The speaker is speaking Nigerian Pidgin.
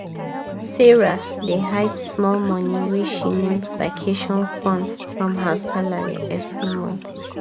sarah dey hide small money wey she name "vacation fund" from her salary every month.